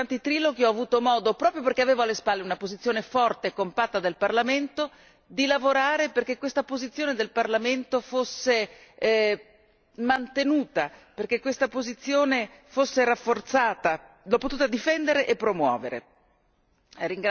Come relatrice durante i triloghi ho avuto modo proprio perché avevo alle spalle una posizione forte e compatta del Parlamento di lavorare perché questa posizione del Parlamento fosse mantenuta, perché questa posizione fosse rafforzata, l'ho potuta difendere e promuovere.